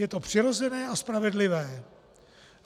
Je to přirozené a spravedlivé.